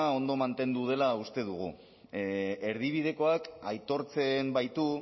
ondo mantendu dela uste dugu erdibidekoak aitortzen baitu